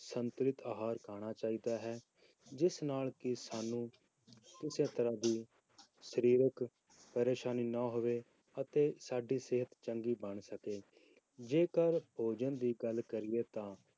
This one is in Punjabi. ਸੰਤੁਲਿਤ ਆਹਾਰ ਖਾਣਾ ਚਾਹੀਦਾ ਹੈ, ਜਿਸ ਨਾਲ ਕਿ ਸਾਨੂੰ ਕਿਸੇ ਤਰ੍ਹਾਂ ਦੀ ਸਰੀਰਕ ਪਰੇਸਾਨੀ ਨਾ ਹੋਵੇ ਅਤੇ ਸਾਡੀ ਸਿਹਤ ਚੰਗੀ ਬਣ ਸਕੇ, ਜੇਕਰ ਭੋਜਨ ਦੀ ਗੱਲ ਕਰੀਏ ਤਾਂ